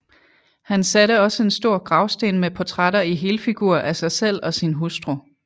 Han satte også en stor gravsten med portrætter i helfigur af sig selv og sin hustru